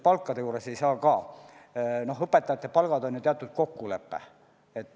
Aga näiteks õpetajate palkade puhul on teatud kokkulepe.